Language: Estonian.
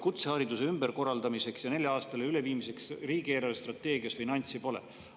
Kutsehariduse ümberkorraldamiseks ja neljale aastale üleviimiseks riigi eelarvestrateegias ka finantse pole.